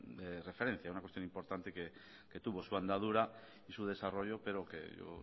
referente una cuestión importante que tuvo su andadura y su desarrollo pero que